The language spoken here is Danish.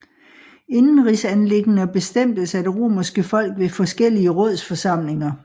Indenrigsanliggender bestemtes af det romerske folk ved forskellige rådsforsamlinger